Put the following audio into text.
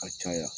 A caya